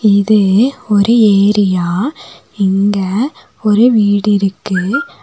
இது ஒரு ஏரியா இங்க ஒரு வீடு இருக்கு.